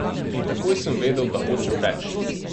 In takoj sem vedel, da hočem več.